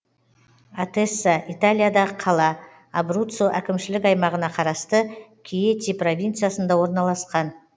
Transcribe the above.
атесса италиядағы қала абруццо әкімшілік аймағына қарасты кьети провинциясында орналасқан